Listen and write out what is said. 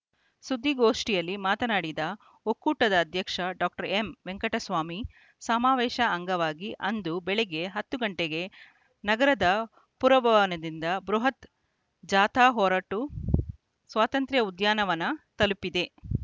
ಸುದ್ದಿಗೋಷ್ಠಿಯಲ್ಲಿ ಮಾತನಾಡಿದ ಒಕ್ಕೂಟದ ಅಧ್ಯಕ್ಷ ಡಾಕ್ಟರ್ ಎಂವೆಂಕಟಸ್ವಾಮಿ ಸಮಾವೇಶ ಅಂಗವಾಗಿ ಅಂದು ಬೆಳಿಗ್ಗೆ ಹತ್ತು ಗಂಟೆಗೆ ನಗರದ ಪುರಭವನದಿಂದ ಬೃಹತ್‌ ಜಾಥಾ ಹೊರಟು ಸ್ವಾತಂತ್ರ ಉದ್ಯಾನವನ ತಲುಪಲಿದೆ